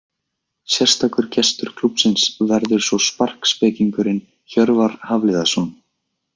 Sérstakur gestur klúbbsins verður svo sparkspekingurinn Hjörvar Hafliðason.